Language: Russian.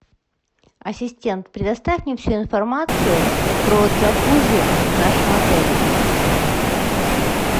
ассистент предоставь мне всю информацию про джакузи в нашем отеле